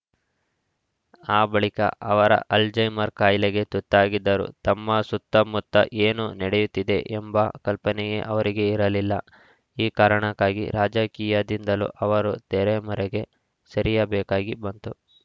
ಆ ಬಳಿಕ ಅವರ ಅಲ್ಜೈಮರ್‌ ಕಾಯಿಲೆಗೆ ತುತ್ತಾಗಿದರು ತಮ್ಮ ಸುತ್ತಮುತ್ತ ಏನು ನಡೆಯುತ್ತಿದೆ ಎಂಬ ಕಲ್ಪನೆಯೇ ಅವರಿಗೆ ಇರಲಿಲ್ಲ ಈ ಕಾರಣಕ್ಕಾಗಿ ರಾಜಕೀಯದಿಂದಲೂ ಅವರು ತೆರೆ ಮರೆಗೆ ಸರಿಯಬೇಕಾಗಿ ಬಂತು